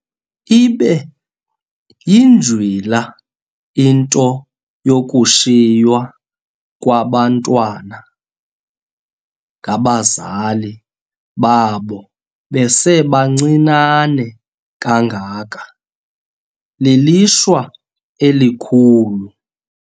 Ibe yinjwila into yokushiywa kwaba bantwana ngabazali babo besebancinane kangaka, lilishwa elikhulu.